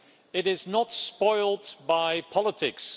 It is not spoilt by politics.